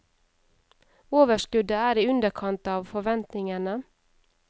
Overskuddet er i underkant av forventningene.